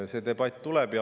See debatt tuleb.